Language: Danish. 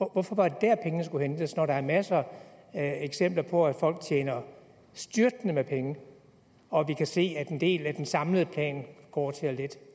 hvorfor var det dér pengene skulle hentes når der er masser af eksempler på at folk tjener styrtende med penge og vi kan se at en del af den samlede plan går til at lette